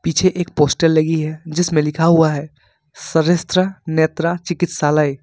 पीछे एक पोस्टर लगी है जिसमें लिखा हुआ है श्रेष्ठ नेत्रा चिकित्सालय ।